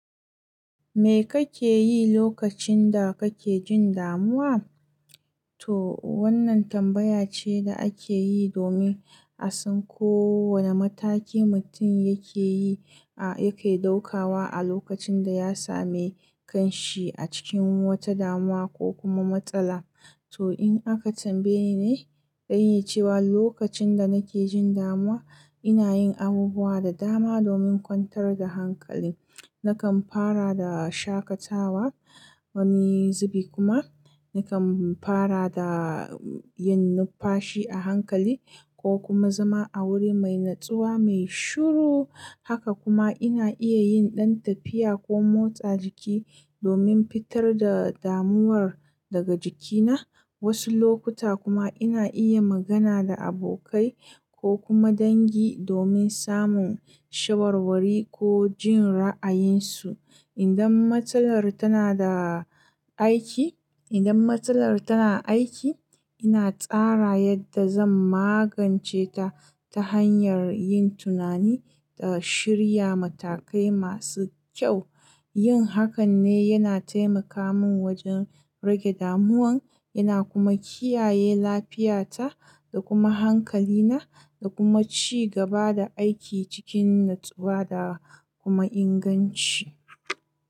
Me kake yi lokacin da kake jin damuwa? To wannan tambaya ce da ake yi domin a san ko wane mataki mutum yake yi, a yake ɗaukawa a lokacin da ya sami kanshi a cikin wata damuwa ko kuma matsala. To in aka tambaye ni, zan iya cewa lokacin da nake jin damuwa ina yin abubuwa da dama domin kwantar da hankali. Nakan fara da shakatawa wani zubi kuma nakan fara da yin nufashi a hankali ko kuma zama a wuri mai natsuwa mai shiru. Haka kuma ina iya yin ɗan tafiya ko motsa jiki domin fitar da damuwar daga jikina. Wasu lokuta kuma ina iya magana da abokai ko kuma dangi domin samun shawarwari ko jin ra'ayinsu. Idan matsalar tana da aiki, idan matsalar tana aiki ina tsara yadda zan magance ta ta hanyar yin tunani da shirya matakai masu kyau. Yin hakan ne yana taimaka min wajen rage damuwan yana kuma kiyaye lafiyata da kuma hankalina da kuma ci gaba da aiki cikin natsuwa da kuma inganci.